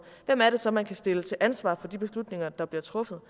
hvem er det så man kan stille til ansvar for de beslutninger der bliver truffet